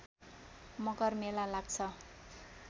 मकर मेला लाग्छ